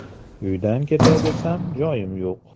Uydan ketay desam, joyim yo‘q.